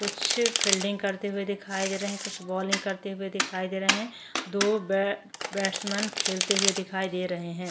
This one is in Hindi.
कुछ फील्डिंग करते हुए दिखाई दे रहे कुछ बॉलिंग करते हुए दिखाई दे रहे है दो बै बॅट्समेन खेलते हुए दिखाई दे रहे है।